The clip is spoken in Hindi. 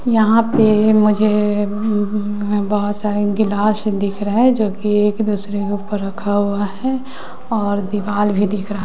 यहां पे मुझे ऊं बहोत सारे गिलास दिख रहा है जो कि एक दूसरे के ऊपर रखा हुआ है और दीवाल भी दिख रहा--